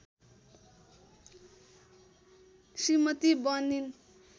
श्रीमती बनिन्